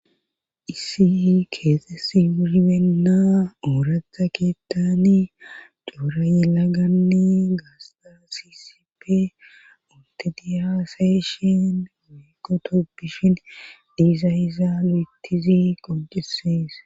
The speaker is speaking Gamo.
issi keesesi ihimenna ooratha keettani coora ylaganni gaasta sisipe ontediyasayyshin weekotoppishin diiza iza lo7ettizi qonjesees